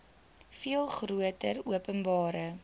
veel groter openbare